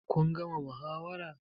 Kun gama muhawara?